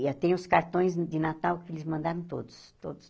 E eu tenho os cartões de Natal que eles mandaram todos. Todos